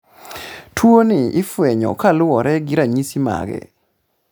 tuoni ifwenyo kaluore gi ranyisi mage